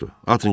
Atın getsin.